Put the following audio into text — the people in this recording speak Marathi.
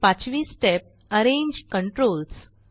पाचवी स्टेप अरेंज कंट्रोल्स